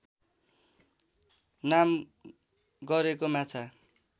नाम गरेको माछा